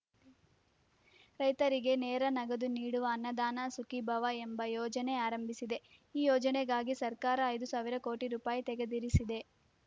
ರೈತರಿಗೆ ನೇರ ನಗದು ನೀಡುವ ಅನ್ನದಾತ ಸುಖೀಭವ ಎಂಬ ಯೋಜನೆ ಆರಂಭಿಸಿದೆ ಈ ಯೋಜನೆಗಾಗಿ ಸರ್ಕಾರ ಐದು ಸಾವಿರ ಕೋಟಿ ರೂಪಾಯಿ ತೆಗೆದಿರಿಸಿದೆ